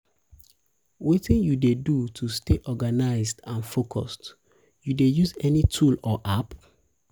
wetin you dey do to dey do to stay organized um and focused you dey um use any tool or app?